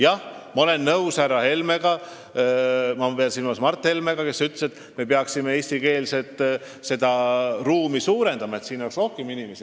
Jah, ma olen nõus härra Helmega – ma pean silmas Mart Helmet –, kes ütles, et me peaksime eestikeelset inforuumi suurendama, et seal oleks rohkem inimesi.